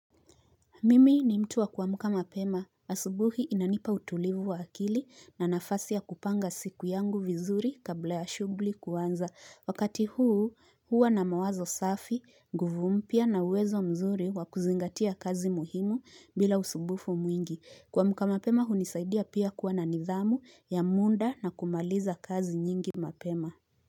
Mimi ni mtu wa kuamka mapema asubuhi inanipa utulivu wa akili na nafasi ya kupanga siku yangu vizuri kabla ya shughuli kuanza wakati huu huwa na mawazo safi nguvu mpya na uwezo mzuri wa kuzingatia kazi muhimu bila usumbufu mwingi kuamka mapema hunisaidia pia kuwa na nidhamu ya muda na kumaliza kazi nyingi mapema.